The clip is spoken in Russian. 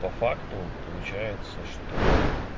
по факту получается что